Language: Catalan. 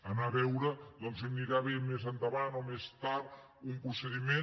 anar a veure doncs si li anirà bé més endavant o més tard un procediment